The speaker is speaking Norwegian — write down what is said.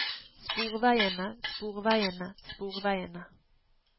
sporveiene sporveiene sporveiene